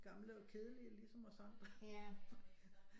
Gamle og kedelige ligesom os andre